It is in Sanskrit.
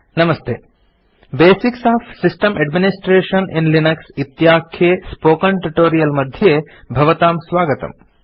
नमस्ते basics of system administration in Linux इत्याख्ये स्पोकेन ट्यूटोरियल् मध्ये भवतां स्वागतम्